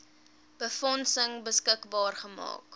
befondsing beskikbaar gestel